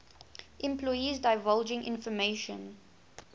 employees divulging information